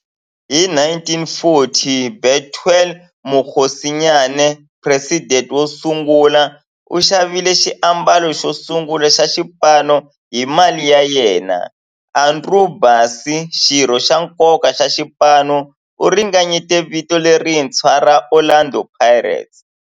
Hi 1940, Bethuel Mokgosinyane, president wosungula, u xavile xiambalo xosungula xa xipano hi mali ya yena. Andrew Bassie, xirho xa nkoka xa xipano, u ringanyete vito lerintshwa ra 'Orlando Pirates'.